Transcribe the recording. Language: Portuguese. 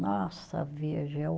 Nossa, veja, é o